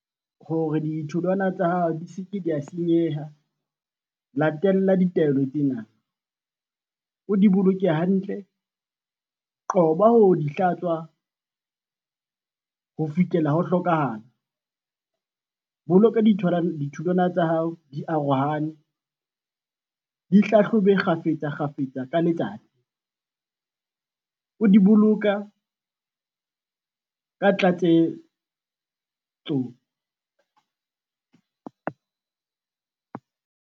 Hore ditholwana tsa hao di seke da senyeha, latella ditaelo tsena, o di boloke hantle, qoba ho di hlatswa, ho fihlela ho hlokahala. Boloka ditholwana tsa hao di arohane, di hlahlobe kgafetsa kgafetsa ka letsatsi. O di boloka ka tlatsetso.